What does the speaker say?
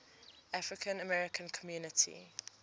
african american community